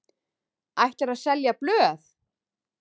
Ætlarðu að selja blöð?